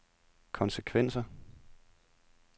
konsekvenser